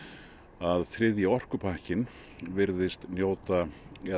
að þriðji orkupakkinn virðist njóta eða